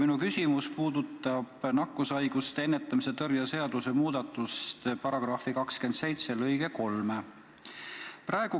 Minu küsimus puudutab nakkushaiguste ennetamise ja tõrje seaduse § 27 lõiget 3.